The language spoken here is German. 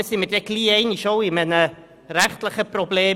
Dann haben wir bald einmal ein rechtliches Problem.